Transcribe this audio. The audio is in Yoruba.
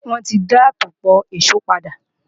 Wọn ò ti dá àtòpọ̀ ìṣó padà